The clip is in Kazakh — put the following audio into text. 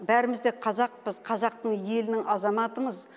бәріміз де қазақпыз қазақтың елінің азаматымыз